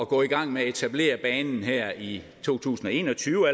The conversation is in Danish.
gå i gang med at etablere banen allerede her i to tusind og en og tyve og